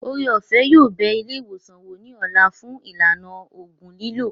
Ore-òfẹ́ yóò bẹ ilé ìwòsàn wò ní ọ̀la fún ìlànà ògùn lílò